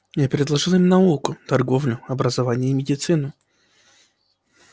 я предложил им науку торговлю образование и медицину